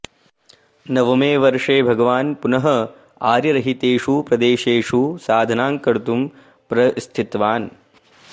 नवमे वर्षे भगवान् पुनः आर्यरहितेषु प्रदेशेषु साधनां कर्तुं प्रस्थितवान्